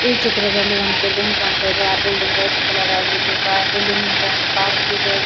ಈ ಚಿತ್ರದಲ್ಲಿ ಒಂದ ಬಿಲ್ಡಿಂಗ್ ಕಾಣ್ತಾ ಇದೆ ಆ ಬಿಲ್ಡಿಂಗ್ ವೈಟ್ ಕಲರ್ ಆಗಿದ್ದು ಬಾ ಬಿಲ್ಡಿಂಗ್ ಮದ್ದೆ ಒಂದು ಪಾರ್ಕ್ ಇದೆ ಗ--